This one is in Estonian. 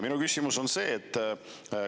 Minu küsimus on see.